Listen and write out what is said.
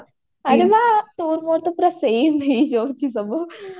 ଆରେ ବାଃ ତୋର ମୋର ତ ସବୁ ସମେ ହେଇଯାଉଛି ସବୁ